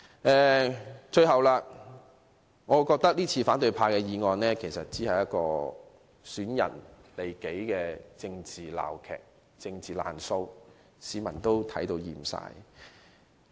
反對派今次提出的議案，只是損人利己的政治鬧劇、政治"爛數"，市民已看厭了。